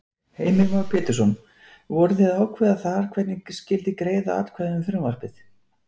Heimir Már Pétursson: Voruð þið að ákveða þar hvernig skyldi greiða atkvæði um frumvarpið?